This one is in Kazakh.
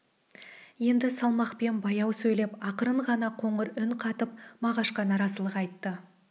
енді салмақпен баяу сөйлеп ақырын ғана қоңыр үн қатып мағашқа наразылық айтты